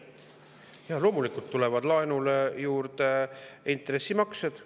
Jaa, loomulikult tulevad laenule juurde intressimaksed.